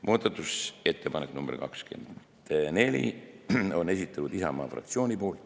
Muudatusettepaneku nr 24 on esitanud Isamaa fraktsioon.